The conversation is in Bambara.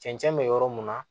Cɛncɛn bɛ yɔrɔ mun na